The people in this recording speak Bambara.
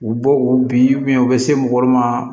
U bɔ wo bin u bɛ se mɔgɔ ma